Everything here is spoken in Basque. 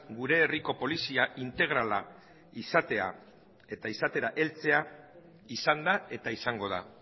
gure herriko polizia integrala izatea eta izatera heltzea izan da eta izango da